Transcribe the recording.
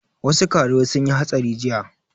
Wasu karuwai sun yi hatsari jiya